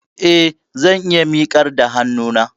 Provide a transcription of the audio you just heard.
Eh, zan iya miƙar da hannuna